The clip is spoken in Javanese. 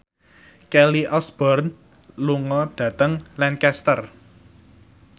Kelly Osbourne lunga dhateng Lancaster